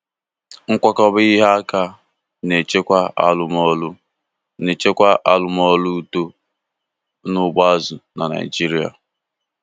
Nkwakọba ihe aka na-echekwa arụmọrụ na-echekwa arụmọrụ uto n'ugbo azụ na Naijiria.